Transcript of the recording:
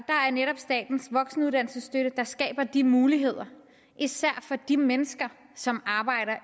er netop statens voksenuddannelsesstøtte der skaber de muligheder især for de mennesker som arbejder